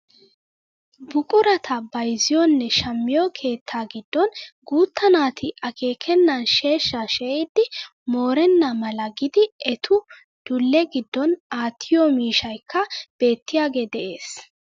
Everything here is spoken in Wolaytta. Buqurata bayzziyoonne shammiyoo keettaa giddon guutta naati akkekannan sheeshshaa she'idi moorenna mala gidi etu dule giddon aattiyoo miishshaykka beettiyaage de'ees!